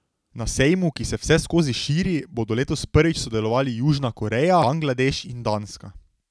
Na sejmu, ki se vseskozi širi, bodo letos prvič sodelovali Južna Koreja, Bangladeš in Danska.